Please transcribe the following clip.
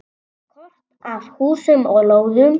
Kort af húsum og lóðum.